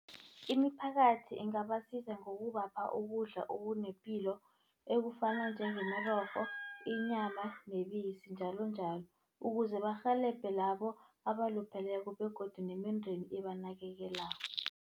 Imiphakathi ingabasiza ngokubapha ukudla okunepilo ekufana njengemirorho, inyama nebisi njalonjalo. Ukuze barhelebhe labo abalupheleko begodu nemindeni ebanakekelako.